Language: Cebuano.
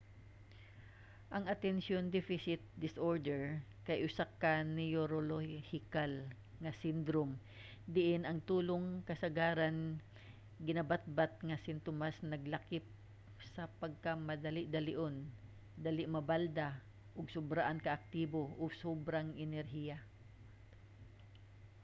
ang attention deficit disorder kay usa ka neorolohikal nga sindrom diin ang tulong kasagaran ginabatbat nga simtomas naglakip sa pagkamadali-dalion dali mabalda ug sobraan ka-aktibo o sobrang enerhiya